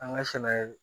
An ka sɛnɛ